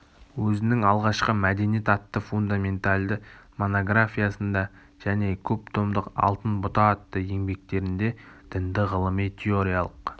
өзінің алғашқы мәдениет атты фундаментальды монографиясында және көп томдық алтын бұта атты еңбектерінде дінді ғылыми теориялық